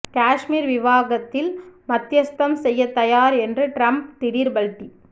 காஷ்மீர் விவகாத்தில் மத்தியஸ்தம் செய்ய தயார் என்ற ட்ரம்ப் திடீர் பல்டி